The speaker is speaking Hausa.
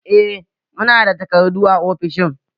Eh muna da takardu a ofishin